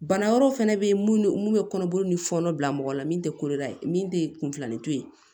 Bana wɛrɛw fana bɛ yen mun bɛ kɔnɔboli ni fɔnɔ bila mɔgɔ la min tɛ koloda ye min tɛ kunfilani to ye